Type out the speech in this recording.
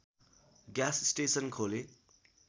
gas station खोले